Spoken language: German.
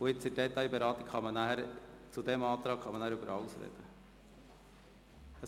Nach dem Antrag FDP kann man im Rahmen der Detailberatung noch über alles reden.